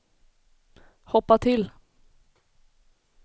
hoppa till